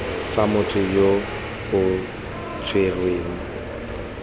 fa motho yo o tshwerweng